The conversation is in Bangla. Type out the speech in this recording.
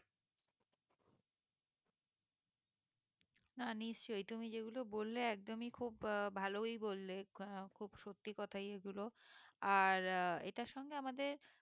না নিশ্চই তুমি যেগুলো বললে একদমই খুব ভালোই বললে আহ খুব সত্যি কথাই এগুলো আর আহ এটার সঙ্গে আমাদের